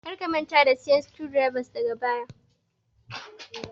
Kar ka manta da siyan screw drivers daga baya